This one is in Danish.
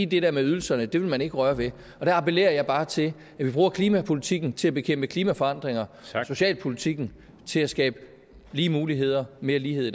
det der med ydelserne vil man ikke røre ved og der appellerer jeg bare til at vi bruger klimapolitikken til at bekæmpe klimaforandringer og socialpolitikken til at skabe lige muligheder mere lighed